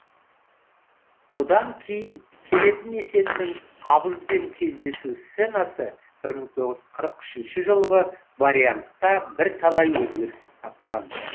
бұдан кейін келетін есеннің абызбен кездесу сценасы бір мың тоғыз жүз қырық үшінші жылғы вариантта бірталай өзгеріс тапқан